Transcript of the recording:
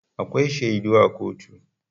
Akwai shaidu a kotu.